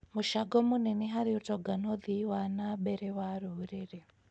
mũcango mũnene harĩ ũtonga na ũthii wa na mbere wa rũrĩrĩ.